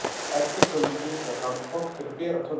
efst á tölvunni var handfang til að bera tölvuna